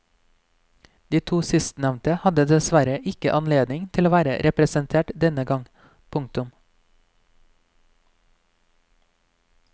De to sistnevnte hadde dessverre ikke anledning til å være representert denne gang. punktum